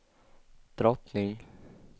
drottning